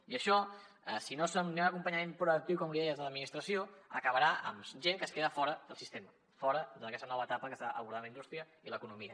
i això si no hi ha un acompanyament proactiu com li deia des de l’administració acabarà amb gent que es queda fora del sistema fora d’aquesta nova etapa que està abordant la indústria i l’economia